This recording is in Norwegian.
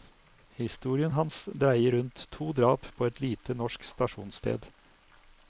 Historien hans dreier rundt to drap på et lite, norsk stasjonssted.